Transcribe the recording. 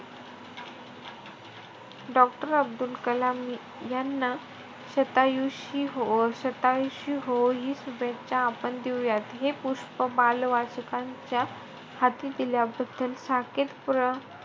Doctor Abdul Kalam यांना शतायुषी होवो~ शतायुषी होवो हि शुभेच्छा आपण देऊया. हे पुष्प बालवाचकांच्या हाती दिल्याबद्दल साकेत प्र,